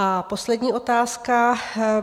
A poslední otázka.